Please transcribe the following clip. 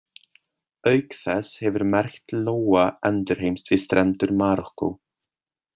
Auk þess hefur merkt lóa endurheimst við strendur Marokkó.